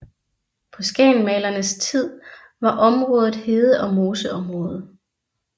På Skagensmalerenes tid var området hede og moseområde